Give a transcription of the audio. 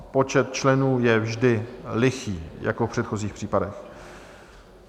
Počet členů je vždy lichý, jako v předchozích případech.